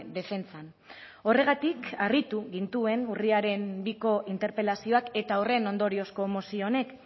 defentsan horregatik harritu gintuen urriaren biko interpelazioak eta horren ondoriozko mozio honek